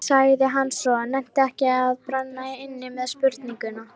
sagði hann svo, nennti ekki að brenna inni með spurninguna.